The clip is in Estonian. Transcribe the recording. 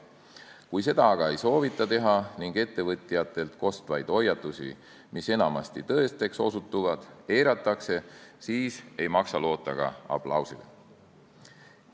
Kui seda aga ei soovita teha ning ettevõtjatelt kostvaid hoiatusi, mis enamasti tõeseks osutuvad, eiratakse, siis ei maksa loota ka aplausile.